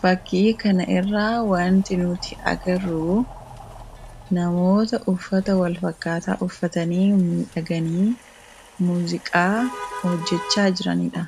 Fakkii kanarraa wanti nuti agarru namoota uffata walfakkaataa uffatanii miidhaganii muuziqaa hojjachaa jiranidha.